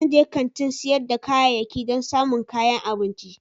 Zan je kantin sayar da kayayyaki don samun kayan abinci.